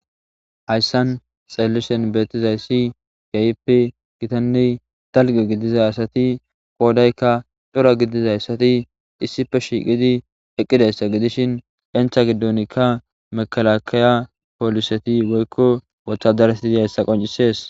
Hayssan xeellishen beettizayssi gaypi gitanne talge gidiza asati qoodaykka cora gidizayssati issife shiiqidi eqqidayssa gidishin entha gidonikka mekalakiya pooliseti goykko wothadarsidi hayssa qoncisees.